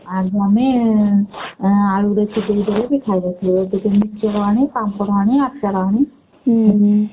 ଆଉ ଆମେ ଆଳୁ ଦେଖୁଥିଲୁ ବି ଖାଇଦଉଥିଲୁ ଟିକେ ମିକ୍ସଚର ଆଣି ପାମ୍ପଡ ଆଣି ଆଚାର ଆଣି